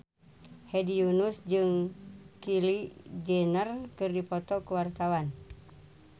Hedi Yunus jeung Kylie Jenner keur dipoto ku wartawan